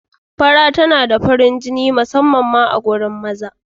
Fara tana da farin jini musamman ma a wajen mata.